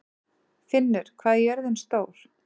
Finnur, hvað er jörðin stór?